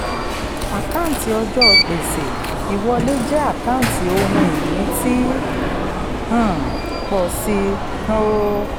àkáǹtí ọjọ́ gbèsè ìwọlé jẹ́ àkáǹtí ohun ìní tí ń um pọ̀ sí um i.